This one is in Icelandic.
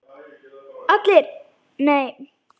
ALLIR: Nei!